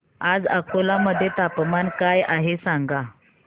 आज अकोला मध्ये तापमान काय आहे सांगा